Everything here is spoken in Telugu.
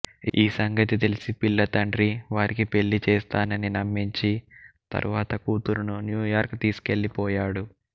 ఈ సంగతి తెలిసి పిల్ల తండ్రి వారికి పెళ్ళిచేస్తానని నమ్మించి తరువాత కూతురును న్యూయార్క్ తీసుకెళ్ళిపోయాడు